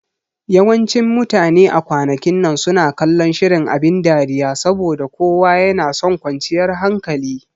Yawancin mutane a kwanakin nan suna kallon shirin abin dariya saboda kowa yanason kwanciyar hankali